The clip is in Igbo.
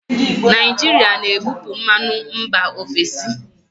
Naijiria na-ebupu mmanụ mba ofesi.